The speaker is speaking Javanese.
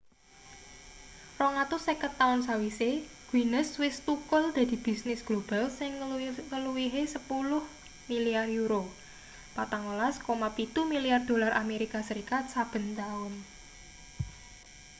250 taun sawise guinness wis thukul dadi bisnis global sing ngluwihi 10 milyar euro 14,7 milyar dolar amerika serikat saben taun